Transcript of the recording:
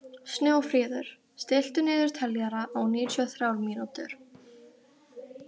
Snjófríður, stilltu niðurteljara á níutíu og þrjár mínútur.